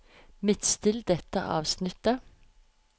Midtstill dette avsnittet